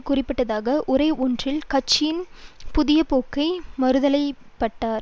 குறிப்பிடத்தக்க உரை ஒன்றில் கட்சியின் புதியபோக்கை மாற்றத்தலைப்பட்டார்